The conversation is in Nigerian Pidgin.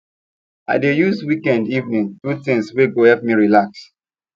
i dey use weekend evening do things wey go help me relax